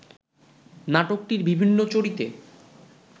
নাটকটির বিভিন্ন চরিতে